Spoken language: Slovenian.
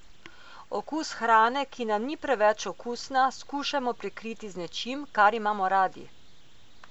Okus hrane, ki nam ni preveč okusna, skušajmo prekriti z nečim, kar imamo radi.